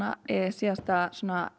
síðasta